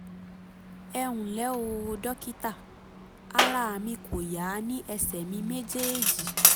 ẹ ǹlẹ́ o dókítà ara mi kò yá ní ẹsẹ̀ mi méjèèjì